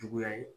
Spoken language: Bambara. Juguya ye